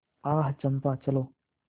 आह चंपा चलो